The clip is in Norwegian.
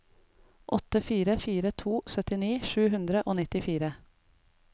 åtte fire fire to syttini sju hundre og nittifire